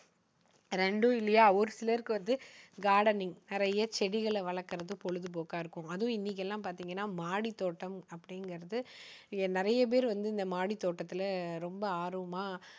ரெண்டும் இல்லையா? ஒரு சிலருக்கு வந்து gardening நிறைய செடிகளை வளர்க்குறது பொழுதுபோக்கா இருக்கும். அதுவும் இன்னைக்கெல்லாம் பாத்தீங்கன்னா மாடித்தோட்டம் அப்படிங்குறது வந்து நிறைய பேர் இந்த மாடித்தோட்டத்துல ரொம்ப ஆர்வமா